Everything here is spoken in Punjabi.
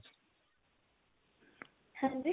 ਹਾਂਜੀ